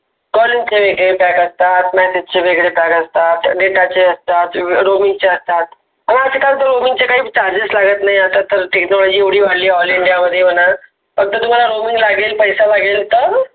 बंद करायच pack असतात. Message चे वेगळे pack असतात, data चे असतात Roaming चे असतात आह कस काही Roaming काही Charges लागत नाही. आता तर तर एवडे वाढले all india मध्ये मना फक्त तुम्हाला Roaming लागेल पैसा लगेल त